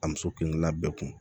A muso kelen bɛɛ kun